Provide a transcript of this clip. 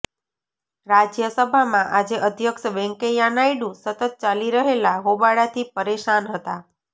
રાજ્યસભામાં આજે અધ્યક્ષ વેંકૈયા નાયડુ સતત ચાલી રહેલા હોબાળાથી પરેશાન હતા